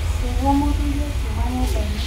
Makĩigwa mũthũrĩ akiuma nyũmbainĩ.